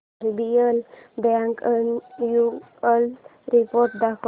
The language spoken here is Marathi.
आरबीएल बँक अॅन्युअल रिपोर्ट दाखव